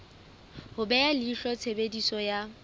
ho beha leihlo tshebediso ya